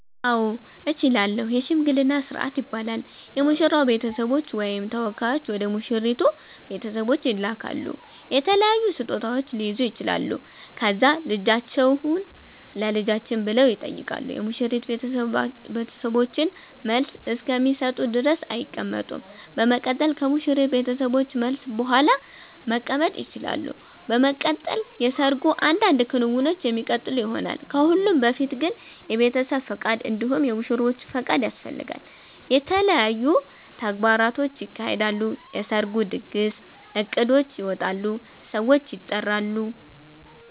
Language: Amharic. አዎ እችላለሁ የሽምግልና ስርአት ይባላል የሙሽራዉ ቤተሰቦች ወይም ተወካዮች ወደ ሙሽራይቱ ቤተሰቦች ይላካሉ የተለያዩ ስጦታዉች ሊይዙ ይችላሉ ከዛ ልጃችሁን ለልጃችን ብለዉ ይጠይቃሉ የሙሽሪት ቤተሰቦችን መልስ እስከሚሰጡ ድረስ አይቀመጡም በመቀጠል ከሙሽሪት ቤተሰቦች መልስ ቡሃላ መቀመጥ ይቸላሉ። በመቀጠል የሰርጉ አንዳንድ ክንዉኖች የሚቀጥሉ ይሆናል። ከሁሉም በፊት ግን የቤተሰብ ፍቃድ እንዲሁም የሙሽሮቹ ፍቃድ ያስፈልጋል። የተለያዩ ተግባራቶች ይካሄዳሉ የሰርጉ ድግስ እቅዶች ይወጣሉ ሰዎች ይጠራሉ